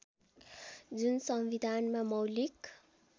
जुन संविधानमा मौलिक